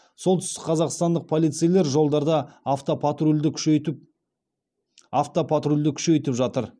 солтүстікқазақстандық полицейлер жолдарда автопатрульді күшейтіп автопатрульді күшейтіп жатыр